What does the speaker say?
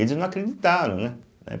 Eles não acreditaram, né? né